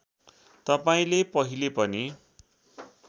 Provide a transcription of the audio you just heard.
तपाईँले पहिले पनि